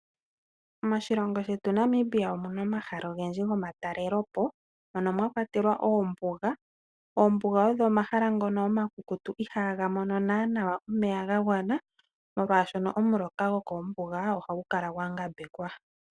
Moshilongo shetu Namibia omuna omahala ogendji gomatalelepo mono mwakwatelwa oombuga . Oombuga odho omahala ngono omakukutu ihaga mono nnana omeya ga gwana molwaashoka omuloka gwokoombuga ohagu kala gwa ngambekwa.